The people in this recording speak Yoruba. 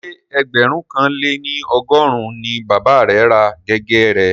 Ṣé ẹgbẹ̀rún kan lé ní ọgọ́rùn-ún ni bàba rẹ̀ ra gègé rẹ̀